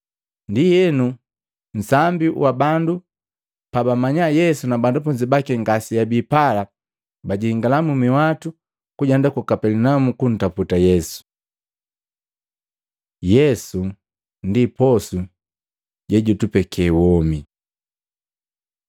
Ndienu nsambi wa bandu pabamanya Yesu na banafunzi baki ngaseabi pala, bajingala minhwatu kujenda ku Kapelinaumu kuntaputa Yesu. Yesu ndi posu jejutupeke womi